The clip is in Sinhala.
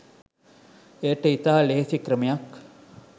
එයට ඉතා ලෙහෙසි ක්‍රමයක්